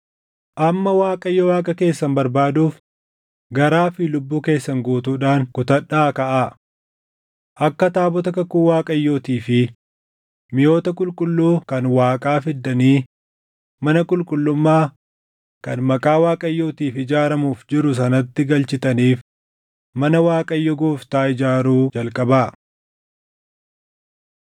Amma Waaqayyo Waaqa keessan barbaaduuf garaa fi lubbuu keessan guutuudhaan kutadhaa kaʼaa. Akka taabota kakuu Waaqayyootii fi miʼoota qulqulluu kan Waaqaa fiddanii mana qulqullummaa kan Maqaa Waaqayyootiif ijaaramuuf jiru sanatti galchitaniif mana Waaqayyo Gooftaa ijaaruu jalqabaa.”